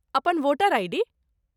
अपन voter ID.